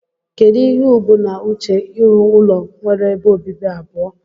Kedu ihe ubu na uche irụ ụlọ nwere ebe obibi abụọ?